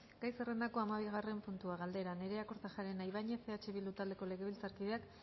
gai zerrendako hamabigarren puntua galdera nerea kortajarena ibañez eh bildu taldeko legebiltzarkideak